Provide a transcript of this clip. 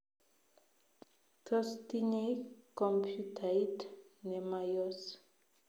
Tos tinyei kompyutait nemayos?